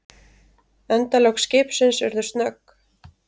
Endalok skipsins urðu snögg.